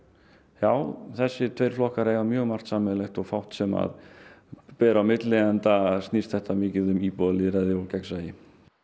já þessir tveir flokkar eiga mjög margt sameiginlegt og fátt sem að ber á milli enda snýst þetta mikið um íbúalýðræði og gegnsæi